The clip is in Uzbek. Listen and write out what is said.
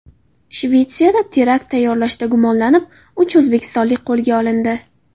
Shvetsiyada terakt tayyorlashda gumonlanib, uch o‘zbekistonlik qo‘lga olindi.